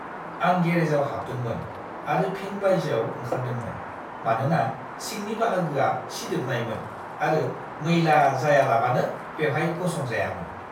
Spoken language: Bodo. आं गेरेजाव हाबदोंमोन आरो फिन बायजोआव ओंखारदोंमोन मानोना सिंनि बाहागोआ सिदोबनायमोन आरो मैला जायालाबानो बेहाय गसं जायामोन।